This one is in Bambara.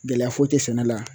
Gɛlɛya foyi tɛ sɛnɛ la